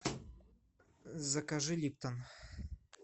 закажи липтон